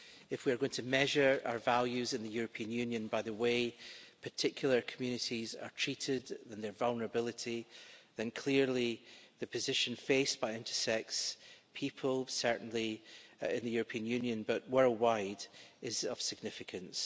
If we are going to measure our values in the European Union by the way particular communities are treated and their vulnerability, then clearly the position faced by intersex people, not only in the European Union but also worldwide, is of significance.